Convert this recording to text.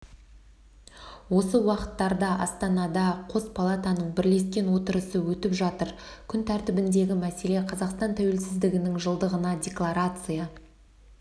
осы уақыттарда астанада қос палатаның бірлескен отырысы өтіп жатыр күн тәртібіндегі мәселе қазақстан тәуелсіздігінің жылдығына декларация